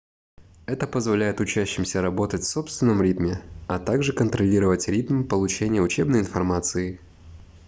это позволяет учащимся работать в собственном ритме а также контролировать ритм получения учебной информации